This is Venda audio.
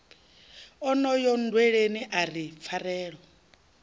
onoyo nndweleni a ri pfarelo